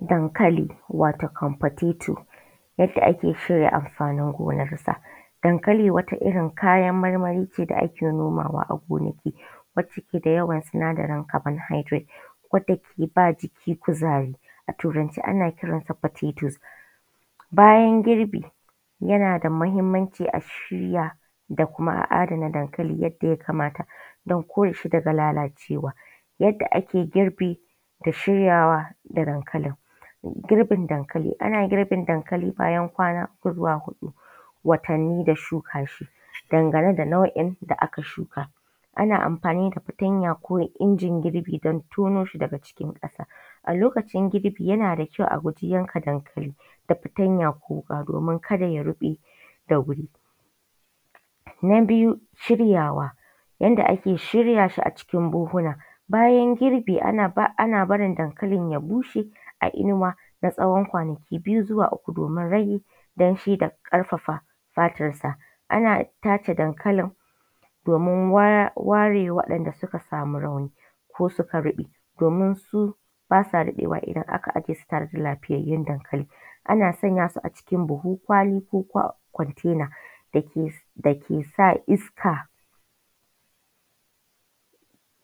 Dankali wato potato yadda ake cire amfanin gonarsa. Hankali wata irin kayan marmari ne da ake nomawa a gonaki wanda yake da yawan sinadarin carbohydrate, wanda ke ba jiki kuzari a turance ana kisan potatoes. Bayan girbi yan ada mahimmanci a shirya kuma a adana dankali domin kauce wa lalalcewa. Yadda ake girbi da shiryawa da dankali, girbin dankali ana girbin dankali ne bayan kwana uku zuwa hudu bayan watanni da shuka shi. Dangane da nau'in da aka shuka, ana amfani da fatanya ko injin girbi a tono shi daga cikin ƙasa. A lokacin girbi yana da ƙyau a guji yanka dankali da fatanya ko wuƙa domin ka da ya ruɓe da wuri. Na biyu shiryawa, yadda ake shirya shi a cikin buhuhuna, bayan girbi ana barin dankalin ya bushe a inuwa na tsawon kwanaki biyu zuwa uku domin rage danshi da kafafa fatansa ana tace dankalin domin ware waɗanda duka samu rauni ko suka rube domin ba sa daɗewa idan aka ajiye su da lafiyayun dankali. Ana sanya su a cikin buhu kwali ko container da ke sa iska